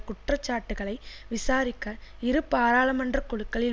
குற்றச்சாட்டுக்களை விசாரிக்க இரு பாராளுமன்றக்குழுக்களில்